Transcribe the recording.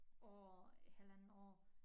År halvandet år